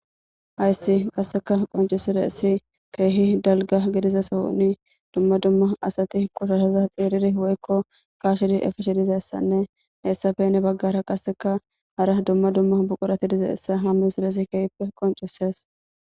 hayssi qasseka qoncisireessi keehi dalga gidiza sohuni dumma dumma asati qushashaza xiiriri woykko kashidi efishi dizayssanne heessafene baggara kaseka hara dumma dumma buqurati dizaessa hammisireesi keehippe qoncises.